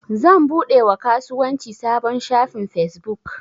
Zan buɗe wa kasuwanci sabon shafin fesbuk.